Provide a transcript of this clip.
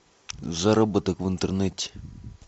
заработок в интернете